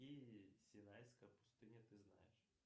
синайская пустыня ты знаешь